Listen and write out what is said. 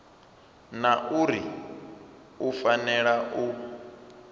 na uri u fanela u